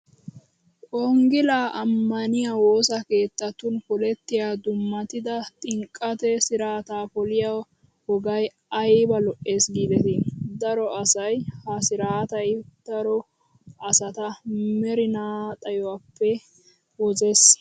Wogilaa ammaniyaa wosa keettatun polettiyaa dummatida xinqqata siraata poliyoo wogayi ayiba lo''es giideti. Daro asayi ha siiratayi daro asata merinaa xayyuwaappe wozes.